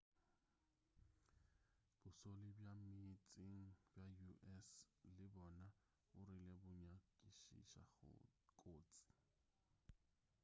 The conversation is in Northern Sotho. bošole bja ka meetseng bja us le bona bo rile bo nyakišiša kotsi